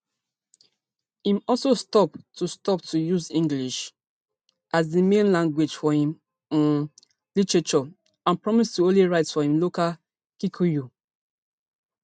im also stop to stop to use english as di main language for im um literature and promise to only write for im local kikuyu